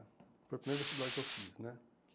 Foi o primeiro vestibular que eu fiz né.